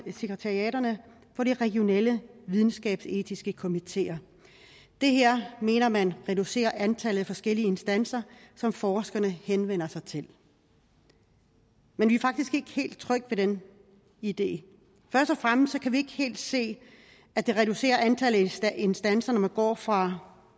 sekretariaterne for de regionale videnskabsetiske komiteer det her mener man reducerer antallet af forskellige instanser som forskerne henvender sig til men vi er faktisk ikke helt trygge ved den idé først og fremmest kan vi ikke helt se at det reducerer antallet af instanser når man går fra